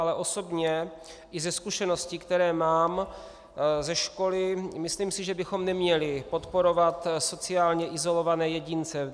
Ale osobně i ze zkušeností, které mám ze školy, si myslím, že bychom neměli podporovat sociálně izolované jedince.